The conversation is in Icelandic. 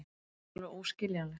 Þetta er alveg óskiljanlegt.